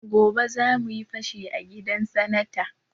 Gobe zamuyi fashi a gidan sanata